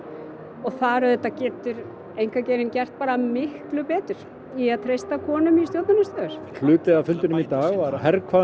og þar auðvitað getur einkageirinn gert miklu betur í að treysta konum í stjórnunarstöður hluti af fundinum í dag var